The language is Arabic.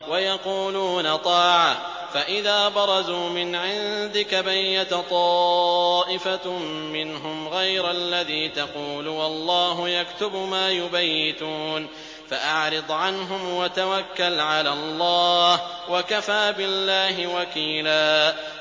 وَيَقُولُونَ طَاعَةٌ فَإِذَا بَرَزُوا مِنْ عِندِكَ بَيَّتَ طَائِفَةٌ مِّنْهُمْ غَيْرَ الَّذِي تَقُولُ ۖ وَاللَّهُ يَكْتُبُ مَا يُبَيِّتُونَ ۖ فَأَعْرِضْ عَنْهُمْ وَتَوَكَّلْ عَلَى اللَّهِ ۚ وَكَفَىٰ بِاللَّهِ وَكِيلًا